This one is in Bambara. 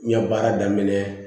N ya daminɛ